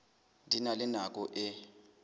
di na le nako e